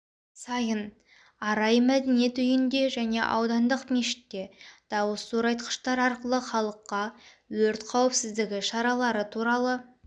сайын арай мәдениет үйінде және аудандық мешітте дауыс зорайтқыштар арқылы халыққа өрт қауіпсіздігі шаралары туралы